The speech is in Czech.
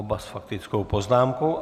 Oba s faktickou poznámkou.